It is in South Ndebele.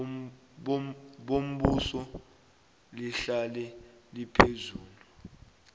bombuso lihlale liphezulu